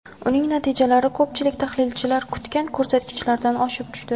Uning natijalari ko‘pchilik tahlilchilar kutgan ko‘rsatkichlardan oshib tushdi.